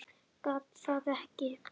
Gat það ekki.